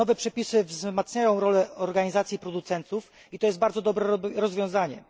Nowe przepisy wzmacniają rolę organizacji producentów i to jest bardzo dobre rozwiązanie.